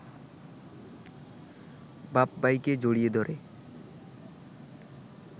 বাপ-ভাইকে জড়িয়ে ধরে